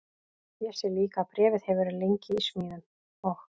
Ég sé líka að bréfið hefur verið lengi í smíðum og